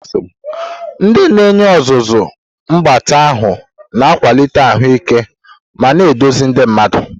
Ndị na-enye ọzụzụ mgbatị ahụ na-akwalite ahụike ma na-eduzi ndị mmadu.